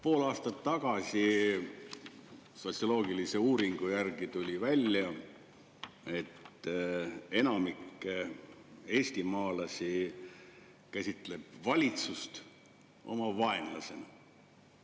Pool aastat tagasi tehtud sotsioloogilise uuringu järgi tuli välja, et enamik eestimaalasi käsitleb valitsust oma vaenlasena.